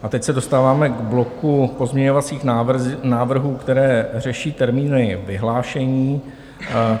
A teď se dostáváme k bloku pozměňovacích návrhů, které řeší termíny vyhlášení.